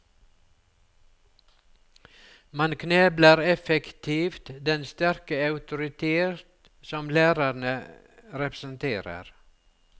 Man knebler effektivt den sterke autoritet som lærerne representerer.